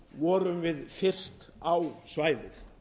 vorum við fyrstir á svæðið